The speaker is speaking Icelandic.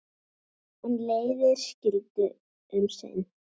En leiðir skildu um sinn.